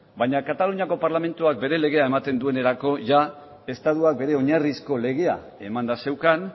baina kataluniako parlamentuak bere legea ematen duenerako jada estatuak bere oinarrizko legea emanda zeukan